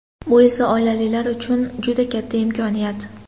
Bu esa oilalar uchun juda katta imkoniyat.